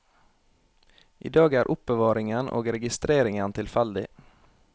I dag er er oppbevaringen og registreringen tilfeldig.